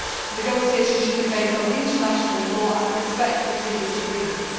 Negotiations should be based on international law and respect previous agreements.